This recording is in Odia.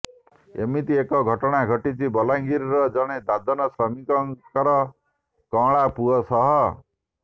ଏମିତି ଏକ ଘଟଣା ଘଟିଛି ବଲାଙ୍ଗିରର ଜଣେ ଦାଦନ ଶ୍ରମିକର କଅଁଳା ପୁଅ ସହ